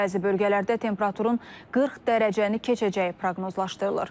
Bəzi bölgələrdə temperaturun 40 dərəcəni keçəcəyi proqnozlaşdırılır.